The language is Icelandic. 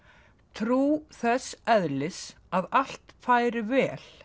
trú þess eðlis að allt færi vel